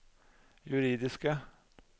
juridiske